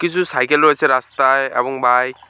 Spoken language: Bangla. কিছু সাইকেল রয়েছে রাস্তায় এবং বাইক ।